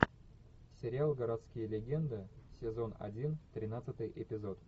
сериал городские легенды сезон один тринадцатый эпизод